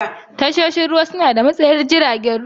Tashoshin ruwa suna da matsayar jiragen ruwa.